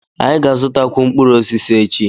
Anyị ga-azụtakwu mkpụrụ osisi echi.